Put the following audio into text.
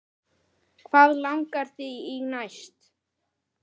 Hvað langar þig í næst?